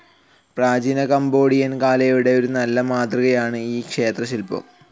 പ്രാചീന കംബോഡിയൻ കലയുടെ ഒരു നല്ല മാതൃകയാണ് ഈ ക്ഷേത്രശിൽപ്പം.